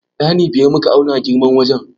Ɗani biyar muka auna girman wajen.